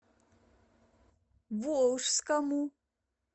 волжскому